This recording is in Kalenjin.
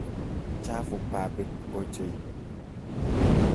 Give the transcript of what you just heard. Chafu babit ochei.